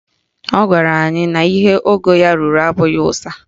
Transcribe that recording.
Ọ gwara anyị na ihe ogo ya ruru abụghị ụsa